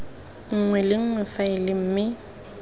nngwe le nngwe faele mme